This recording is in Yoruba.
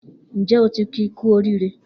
Njẹ o ti ki ku orire?